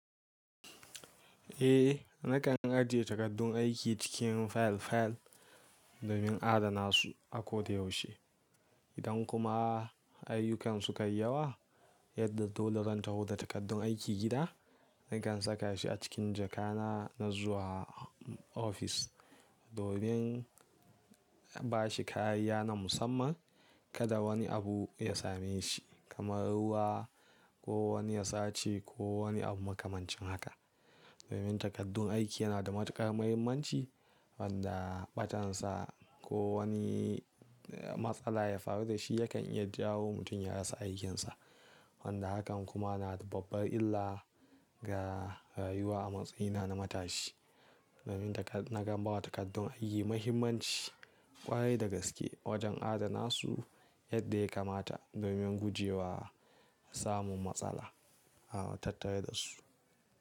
Eh, nakan ajiye takardun aiki cikin fayil-fayil domin adana su a kodayaushe. Idan kuma ayyukan su kai yawa yadda dole zan taho da takardun aiki gida, nakan saka shi a cikin jakana na zuwa ofis. Domin bashi kayayya na musamman, kada wani abu ya same shi kamar ruwa ko wani yasaci ko wani abu makamancin haka. Domin takardun aiki yana da matukar muhimmanci wanda ɓatansa ko wani matsala ya faru da shi yakan iya jawo mutum ya rasa aikinsa. Wanda hakan kuma na da babbar illa ga rayuwa a matsayina na matashi. Domin nakan bawa takardun aiki muhimmanci ƙwarai da gaske wajen adana su yadda ya kamata domin gujewa samun matsala a tattare da su.